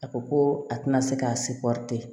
A ko ko a tɛna se k'a